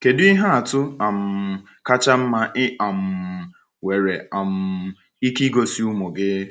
Kedu ihe atụ um kacha mma ị um nwere um ike igosi ụmụ gị?